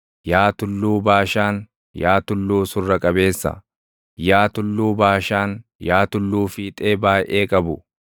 Yaa tulluu Baashaan, yaa tulluu surra qabeessa, yaa Tulluu Baashaan, yaa tulluu fiixee baayʼee qabu,